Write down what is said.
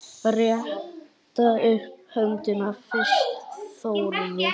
Rétta upp höndina fyrst Þórður.